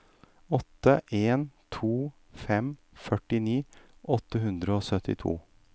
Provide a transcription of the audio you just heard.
åtte en to fem førtini åtte hundre og syttito